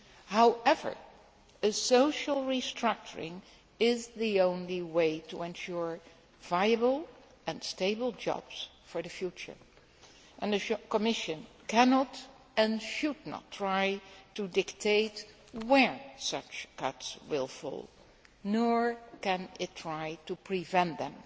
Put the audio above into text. However, a social restructuring is the only way to ensure viable and stable jobs for the future, and the Commission cannot, and should not, try to dictate where such cuts will fall, nor can it try to prevent them.